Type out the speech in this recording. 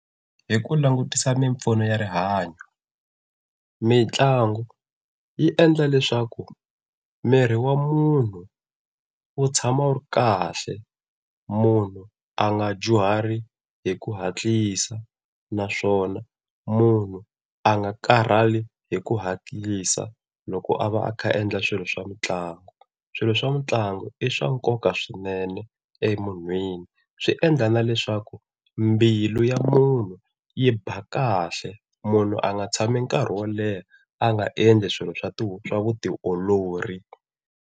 Hi ku langutisa mimpfuno ya rihanyo, mitlangu yi endla leswaku miri wa munhu wo tshama wu ri kahle munhu a nga dyuhari hi ku hatlisa, naswona munhu a nga karhali hi ku hatlisa loko a va a kha a endla swilo swa mitlangu. Swilo swa mitlangu i swa nkoka swinene e munhwini swi endla na leswaku mbilu ya munhu yi ba kahle munhu a nga tshami nkarhi wo leha a nga endli swilo swa vutiolori.